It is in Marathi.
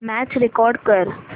मॅच रेकॉर्ड कर